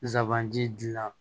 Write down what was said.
Zaban ji la